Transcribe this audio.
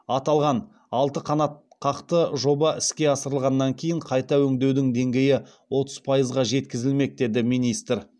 аталған алты қанатқақты жоба іске асырылғаннан кейін қайта өңдеудің деңгейі отыз пайызға жеткізілмек деді министр